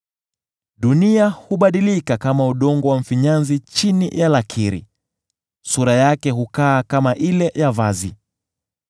Dunia hubadilika kama udongo wa mfinyanzi chini ya lakiri; sura yake hukaa kama ile ya vazi.